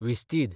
विस्तीद